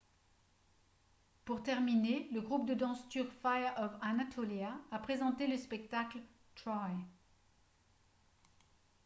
pour terminer le groupe de danse turc fire of anatolia a présenté le spectacle « troy »